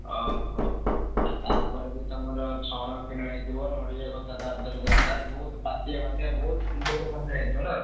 ଅହୋ! ଆଉ ତାପରେ ବି ତମର ଛଣ କିଣା ହେଇଥିବ, ନଡିଆ କତା ତା ଧିଅରେ ଦରକାର ବହୁତ୍ ପାତିଆ ଫାତିଆ ବହୁତ୍ ପଇସା ଖର୍ଚ ହେଇଥିବ ନା?